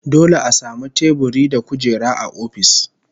Dole a samu teburi da kujera a ofis